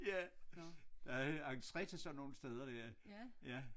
Ja der er entre til sådan nogle steder der ja